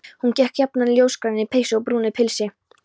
Hún gekk jafnan í ljósgrænni peysu og brúnu pilsi.